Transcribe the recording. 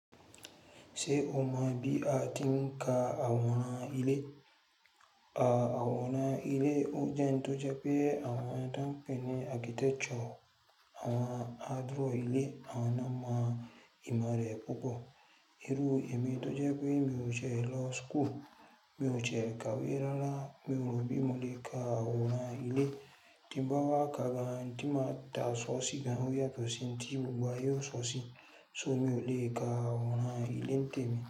Ṣé o mọ bí a ti ń ka àwòrán ilé? Àwòrán ilé o jẹ́ n tó jẹ pé àwọn tán pẹ̀ ni architecture, àwọn á draw ilé àwọn ná máa ìmọ̀ rẹ púpọ̀. Irú emọ̀ tó jẹ pé mi ò ṣe lo school, mi ò ṣe kàwé rárá, mi ò rọ bí mo le ka àwòrán ilé. Tí n bá wá kà gan, tí n máa ta aṣọ sí gan, ó yàtọ̀ sí ohun tí gbogbo ayé ó sọ sí, ṣó mi ò lè ka àwòrán ilé ńtẹ̀mí.